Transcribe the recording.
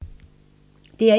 DR1